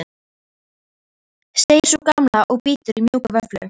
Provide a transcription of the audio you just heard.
segir sú gamla og bítur í mjúka vöfflu.